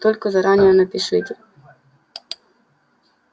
только заранее напишите